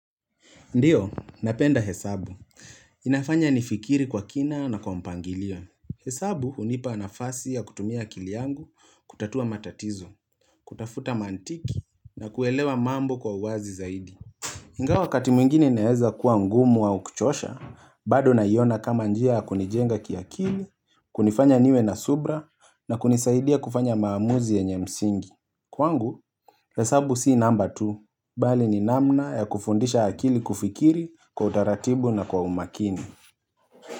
Ndiyo, napenda hesabu. Inafanya nifikiri kwa kina na kwa mpangilio. Hesabu hunipa nafasi ya kutumia akili yangu kutatua matatizo, kutafuta mantiki na kuelewa mambo kwa uwazi zaidi Ingawa wakati mwingini naeza kuwa ngumu au kuchosha, bado naiona kama njia kunijenga kiakili, kunifanya niwe na subra na kunisaidia kufanya maamuzi yenye msingi Kwangu, hesabu si namba tu, bali ni namna ya kufundisha akili kufikiri kwa utaratibu na kwa umakini.